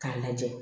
K'a lajɛ